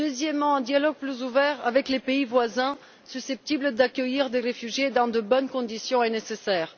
Ensuite, un dialogue plus ouvert avec les pays voisins susceptibles d'accueillir des réfugiés dans de bonnes conditions est nécessaire.